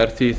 er því